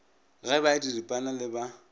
ge ba diripana le ba